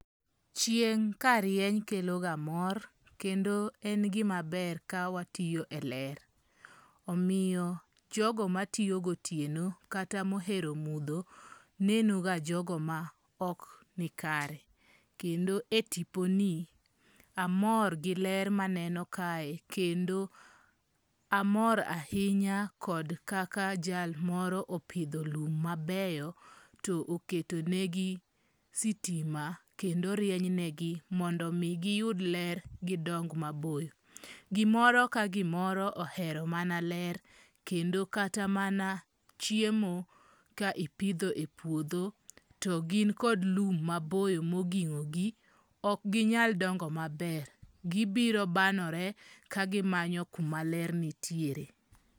Chieng' ka rieny keloga mor, kendo en gima ber ka watiyo e ler. Omiyo jogo matiyo gotieno kata mohero mudho nenoga jogo maok nikare. Kendo e tiponi, amor gi ler maneno kae kendo amor ahinya kaka jal moro opidho lum mabeyo to oketonegi sitima kendo rienynegi mondo omi giyud ler gidong maboyo. Gimoro ka gimoro ohero mana ler kendo kata mana chiemo ka ipidho e puodho to gin kod lum maboyo moging'ogi, ok ginyal dongo maber, gibiro banore ka gimanyo kuma ler nitiere.